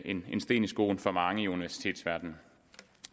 en sten i skoen for mange i universitetsverdenen